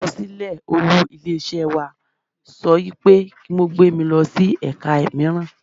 Àkọsílẹ̀ olú ilé iṣẹ́ wa sọ wípé kí wón gbé mi lọ sí ẹ̀ka míràn.